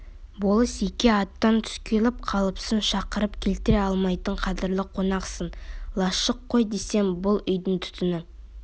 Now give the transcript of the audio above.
болыс-еке аттан түс келіп қалыпсың шақырып келтіре алмайтын қадірлі қонақсың лашық қой демесең бұл үйдің түтіні